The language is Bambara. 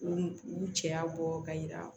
U u cɛya bɔ ka yira